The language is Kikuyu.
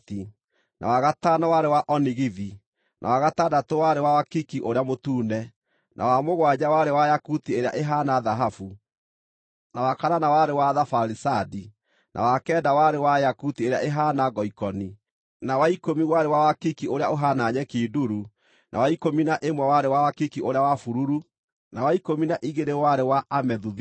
na wa gatano warĩ wa onigithi, na wa gatandatũ warĩ wa wakiki ũrĩa mũtune, na wa mũgwanja warĩ wa yakuti ĩrĩa ĩhaana thahabu, na wa kanana warĩ wa thabaricandi, na wa kenda warĩ wa yakuti ĩrĩa ĩhaana ngoikoni, na wa ikũmi warĩ wa wakiki ũrĩa ũhaana nyeki nduru, na wa ikũmi na ĩmwe warĩ wa wakiki ũrĩa wa bururu, na wa ikũmi na igĩrĩ warĩ wa amethuthito.